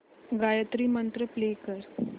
गायत्री मंत्र प्ले कर